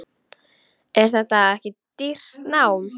Er þetta ekki dýrt nám?